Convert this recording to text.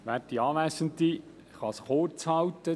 Ich kann mich kurzfassen: